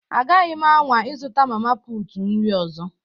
Agaghị m anwa ịzụta mama putu nri ọzọ